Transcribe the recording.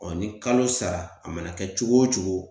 Ɔ ni kalo sara a mana kɛ cogo o cogo